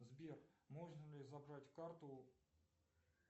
сбер можно ли забрать карту